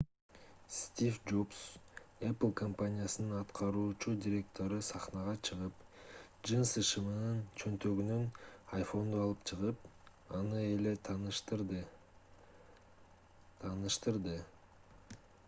стив джобс apple компаниясынын аткаруучу директору сахнага чыгып джинсы шымынын чөнтөгүнөн iphone’ду алып чыгып аны эле тааныштырды тааныштырды